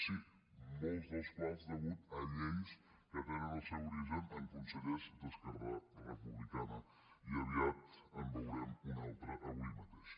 sí molts dels quals a causa de lleis que tenen el seu origen en consellers d’esquerra republicana i aviat en veurem un altre avui mateix